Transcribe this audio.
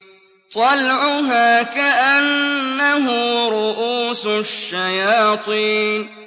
طَلْعُهَا كَأَنَّهُ رُءُوسُ الشَّيَاطِينِ